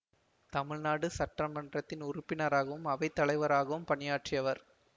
தமிழ்நாடு சட்டமன்றத்தின் உறுப்பினராகவும் அவைத்தலைவராகவும் பணியாற்றியவர்